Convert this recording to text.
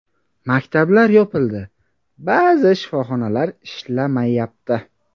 Maktablar yopildi, ba’zi shifoxonalar ishlamayapti.